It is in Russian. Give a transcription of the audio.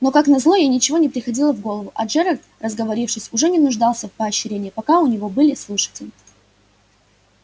но как назло ей ничего не приходило в голову а джералд разговорившись уже не нуждался в поощрении пока у него были слушатели